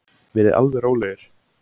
Verið alveg rólegir!